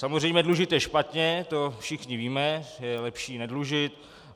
Samozřejmě dlužit je špatně, to všichni víme, je lepší nedlužit.